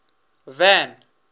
van